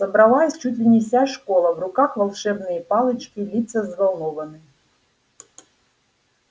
собралась чуть ли не вся школа в руках волшебные палочки лица взволнованны